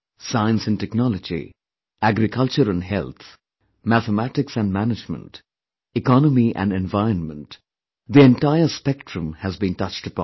Science & technology, agriculture & health, Mathematics & Management, economy & environment, the entire spectrum has been touched upon